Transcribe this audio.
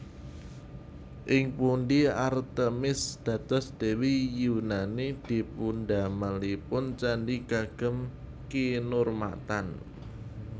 Ing pundhi Artemis dados Dewi Yunani dipundamelipun candhi kagem kinurmatan